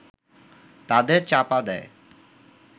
তাদের চাপা দেয়